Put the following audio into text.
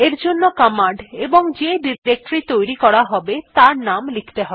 এরজন্য কমান্ড এবং যে ডিরেক্টরী তৈরী করা হবে তার নাম লিখতে হয়